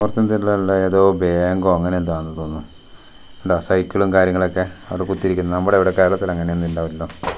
ഏതോ ബേങ്കോ അങ്ങനെയെന്തൊ ആന്നു തോന്നു ണ്ടോ സൈക്കിളും കാര്യങ്ങളക്കെ അവടെ കുത്തിയിരിക്കുന്ന് നമ്മടെയവടെ കേരളത്തിലങ്ങനെയൊന്നിണ്ടാവില്ലല്ലോ .]